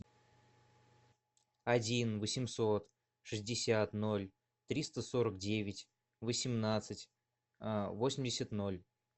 один восемьсот шестьдесят ноль триста сорок девять восемнадцать восемьдесят ноль